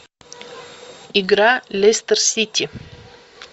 игра лестер сити